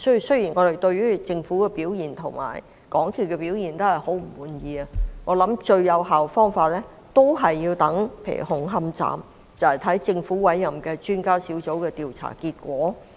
雖然我們對政府及港鐵公司的表現非常不滿，但就紅磡站的事件而言，我認為最有效的方法是等待政府委任的專家小組的調查結果。